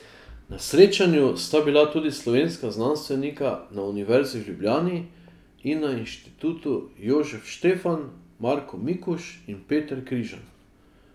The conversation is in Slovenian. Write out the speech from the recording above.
Na srečanju sta bila tudi slovenska znanstvenika na Univerzi v Ljubljani in na Institutu Jožef Stefan Marko Mikuž in Peter Križan.